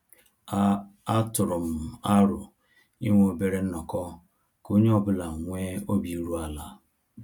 A A tụrụ m arọ inwe obere nnọkọ ka onye ọ bụla nwee obi iru ala